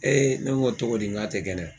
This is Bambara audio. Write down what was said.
ne ko n ko togo di n k'a tɛ kɛnɛya?